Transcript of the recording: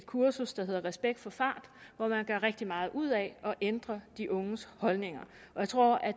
kursus der hedder respekt for fart hvor man gør rigtig meget ud af at ændre de unges holdninger og jeg tror at